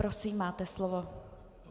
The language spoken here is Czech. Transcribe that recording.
Prosím, máte slovo.